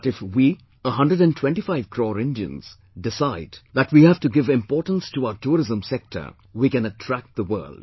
But if we, 125 crore Indians, decide that we have to give importance to our tourism sector, we can attract the world